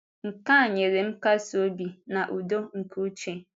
Nke a nyere m nkasi obi na udo nke uche.